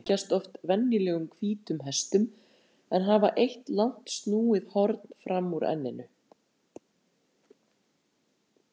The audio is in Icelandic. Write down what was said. Einhyrningar líkjast oft venjulegum hvítum hestum en hafa eitt langt snúið horn fram úr enninu.